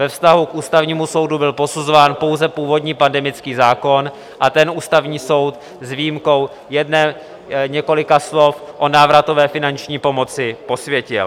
Ve vztahu k Ústavnímu soudu byl posuzován pouze původní pandemický zákon a ten Ústavní soud s výjimkou několika slov o návratové finanční pomoci posvětil.